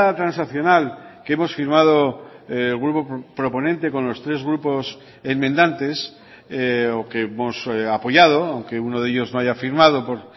transaccional que hemos firmado el grupo proponente con los tres grupos enmendantes o que hemos apoyado aunque uno de ellos no haya firmado por